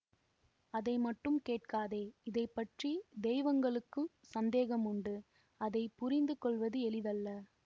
அதை மட்டும் கேட்காதே இதை பற்றி தெய்வங்களுக்கும் சந்தேகமுண்டு அதை புரிந்து கொள்வது எளிதல்ல